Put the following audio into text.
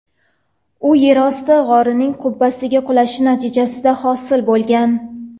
U yerosti g‘orining qubbasi qulashi natijasida hosil bo‘lgan.